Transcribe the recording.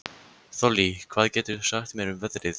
Þollý, hvað geturðu sagt mér um veðrið?